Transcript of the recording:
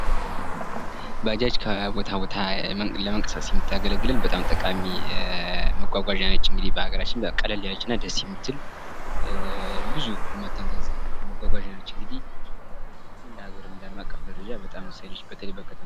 ባጃጅ ከቦታ ቦታ ለመንቀሳቀስ የምታገለግለን በጣም ጠቃሚ መጓጓዣ ነች ።እንግዲህ በሀገራችን ቀለል ያለች እና ደስ የምትል ብዙ የማታንዛዛ መጓጓዣ እንግዲህ እንግዲህ እንደ ሃገር እና እንደ አለም አቀፍ ደረጃ በጣም ወሳኝ ነች። በተለይ በከተማ